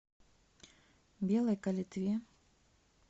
белой калитве